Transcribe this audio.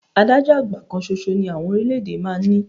Adájọ́ àgbà kan ṣoṣo ni àwọn orílẹ̀-èdè máa ń ní